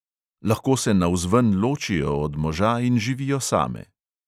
Lahko se navzven ločijo od moža in živijo same.